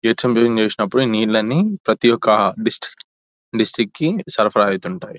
Gates అన్ని open చేసినప్పుడు ఈ నీళ్లన్నీ ప్రతి ఒక్క డిస్ట్ డిస్టిక్ కి సరఫరా అవుతుంటాయి.